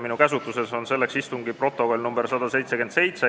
Minu käsutuses on selleks komisjoni istungi protokoll nr 177.